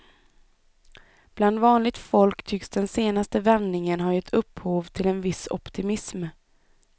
Bland vanligt folk tycks den senaste vändningen har gett upphov till en viss optimism.